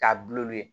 K'a ye